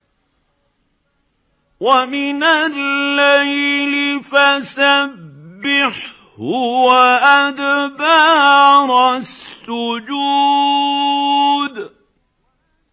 وَمِنَ اللَّيْلِ فَسَبِّحْهُ وَأَدْبَارَ السُّجُودِ